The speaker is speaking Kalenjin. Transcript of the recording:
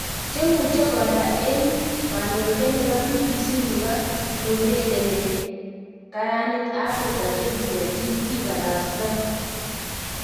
Chemucheng kondo eng koninotiet nepo BBC nepo neurereni kkaranit Afrika 2017 kiparasta.